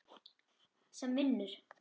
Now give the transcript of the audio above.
sem vinnur.